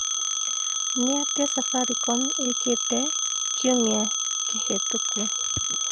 nĩ atĩa safaricom ĩkĩte kĩumĩa kĩhetũku